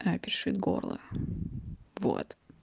а пиши горло вот